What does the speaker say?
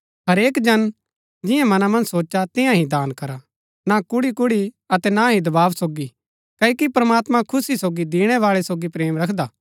हरेक जन जियां मना मन्ज सोचा तियां ही दान करा ना कुढ़ीकुढ़ी अतै ना ही दबाव सोगी क्ओकि प्रमात्मां खुशी सोगी दिणैबाळै सोगी प्रेम रखदा